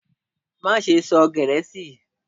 Maṣe sọ Gẹẹsi!